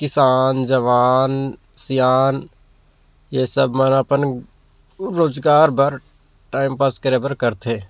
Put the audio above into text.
किसान जवान सियान ये सब मन अपन रोजगार बर टाइमपास करे बर कर थे।